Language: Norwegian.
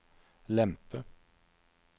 lempe